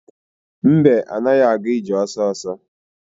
Mbe anaghị aga ije ọsọsọ.